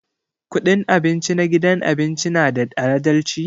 Kudin abinci na gidan abinci na da adalci?